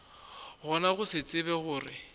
gona go se tsebe gore